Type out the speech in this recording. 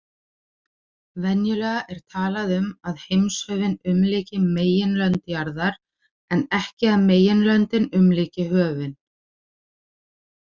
Venjulega er talað um að heimshöfin umlyki meginlönd jarðar en ekki að meginlöndin umlyki höfin.